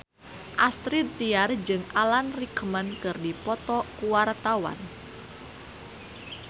Astrid Tiar jeung Alan Rickman keur dipoto ku wartawan